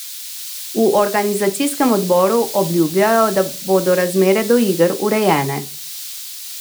V organizacijskem odboru obljubljajo, da bodo razmere do iger urejene.